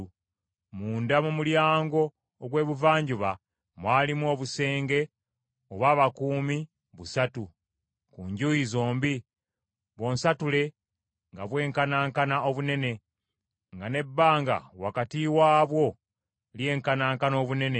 Munda mu mulyango ogw’Ebuvanjuba mwalimu obusenge obw’abakuumi busatu ku njuyi zombi, bw’onsatule nga bwenkanankana obunene, nga n’ebbanga wakati waabwo lyenkanankana obunene.